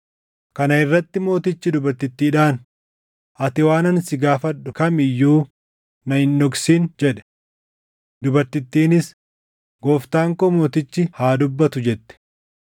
Kana irratti mootichi dubartittiidhaan, “Ati waan ani si gaafadhu kam iyyuu na hin dhoksin” jedhe. Dubartittiinis, “Gooftaan koo mootichi haa dubbatu” jette.